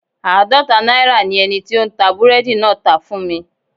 Aadọta naira ni eniti o n ta búredì naa tá fun mi